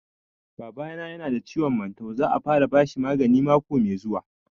Baba na ya na da ciwon mantau, za a fara bashi magani mako mai zuwa